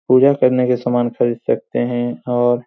पूजा करने के सामान खरीद सकते है और --